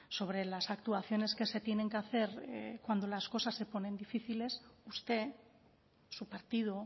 sobre las actuaciones que se tienen que hacer cuando las cosas se ponen difíciles usted su partido